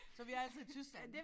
Så vi er altså i Tyskland